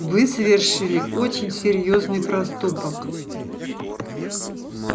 вы совершили очень серьёзный проступок